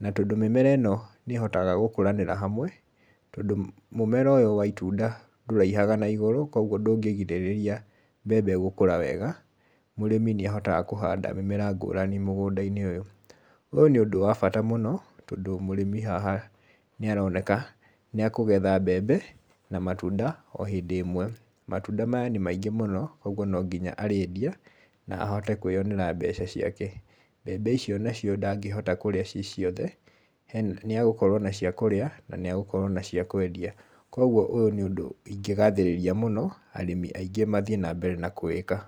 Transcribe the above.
na tondũ mĩmera ĩno nĩ ĩhotaga gũkũranĩra hamwe, tondũ mũmera ũyũ wa itunda ndũraihaga na igũrũ, koguo ndũngĩgirĩrĩria mbembe gũkũra wega, mũrĩmi nĩ ahotaga kũhanda mĩmera ngũrani mũgũnda-inĩ ũyũ. Ũyũ nĩ ũndũ wa bata mũno tondũ mũrĩmi haha nĩ aroneka nĩ akũgetha mbembe na matunda o hĩndĩ ĩmwe. Matunda maya nĩ maingĩ mũno, koguo no nginya arĩendia na ahote kwĩyonera mbeca ciake. Mbembe icio nacio ndangĩhota kũrĩa ciĩ ciothe, nĩ agũkorwo na cia kũrĩa na na nĩ agũkorwo na cia kwendia. Koguo ũyũ nĩ ũndũ ingĩgathĩrĩria mũno arĩmi aingĩ mathiĩ na mbere na kũwĩka.